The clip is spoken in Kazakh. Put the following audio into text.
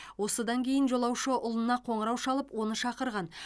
осыдан кейін жолаушы ұлына қоңырау шалып оны шақырған